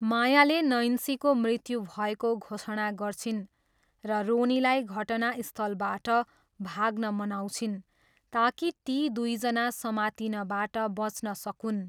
मायाले नैन्सीको मृत्यु भएको घोषणा गर्छिन् र रोनीलाई घटनास्थलबाट भाग्न मनाउँछिन् ताकि ती दुईजना समातिनबाट बच्न सकून्।